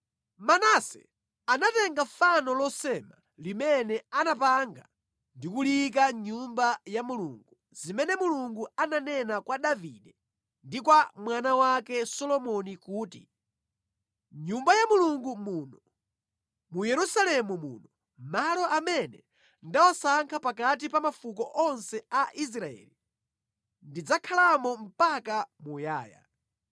Manase anatenga fano losema limene anapanga ndi kuliyika mʼNyumba ya Mulungu, zimene Mulungu ananena kwa Davide ndi kwa mwana wake Solomoni kuti, “Mʼnyumba ya Mulungu muno, mu Yerusalemu muno, malo amene ndawasankha pakati pa mafuko onse a Israeli, ndidzakhalamo mpaka muyaya.